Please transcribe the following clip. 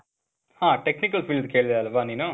ಹಾ. technical field ಕೇಳ್ದೆ ಅಲ್ವ ನೀನು?